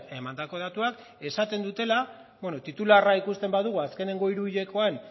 emandako datuak esaten dutela titularra ikusten badugu azkenengo hiru hilekoan